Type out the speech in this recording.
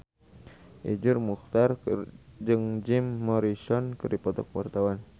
Iszur Muchtar jeung Jim Morrison keur dipoto ku wartawan